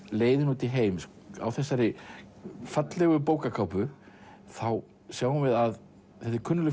leiðin út í heim á þessari fallegu bókarkápu sjáum við að þetta er kunnugleg